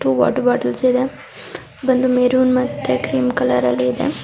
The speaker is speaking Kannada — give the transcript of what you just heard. ಟೂ ವಾಟರ್ ಬೊಟಲ್ಸ್ ಬಂದು ಮೆರೂನ್ ಮತ್ತೆ ಕ್ರೀಮ್ ಕಲರ್ ಅಲ್ಲಿ ಇದೆ.